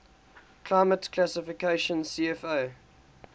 climate classification cfa